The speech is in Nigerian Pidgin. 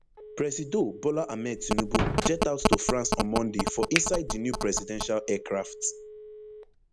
presido bola ahmed tinubu jet out to france on monday for inside di new presidential aircraft